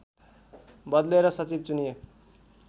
बदलेर सचिव चुनिए